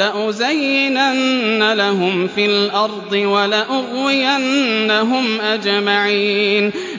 لَأُزَيِّنَنَّ لَهُمْ فِي الْأَرْضِ وَلَأُغْوِيَنَّهُمْ أَجْمَعِينَ